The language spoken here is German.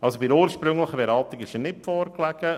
Bei der ursprünglichen Beratung lag der Antrag nicht vor.